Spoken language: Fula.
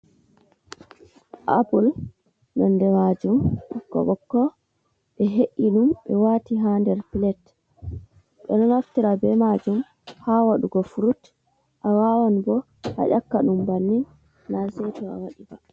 Apul nonnde majum ɓokko ɓokko, ɓe he’i ɗum ɓe wati ha nder piletji ɓeɗo naftira be majum ha waɗugo furut a wawan bo a ƴaka ɗum bannin na saito awaɗi ba.